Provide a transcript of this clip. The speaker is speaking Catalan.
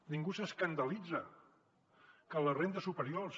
ningú s’escandalitza que les rendes superiors